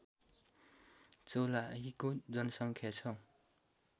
चौलाहीको जनसङ्ख्या छ